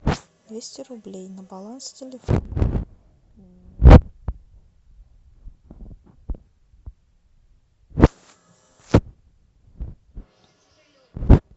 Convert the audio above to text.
двести рублей на баланс телефона